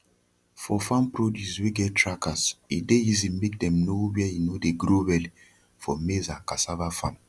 for farm produce wey get trackers e dey easy make dem no where e no dey grow well for maize and cassava farm